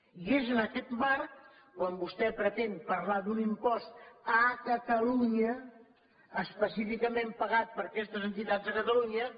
i és en aquest marc quan vostè pretén parlar d’un impost a catalunya específicament pagat per aquestes entitats a catalunya